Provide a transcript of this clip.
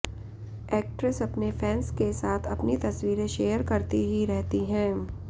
actress अपने fans के साथ अपनी तस्वीरें शेयर करती ही रहती हैं